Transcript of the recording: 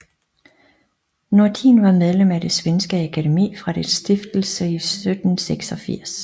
Nordin var medlem af det svenske Akademi fra dets stiftelse 1786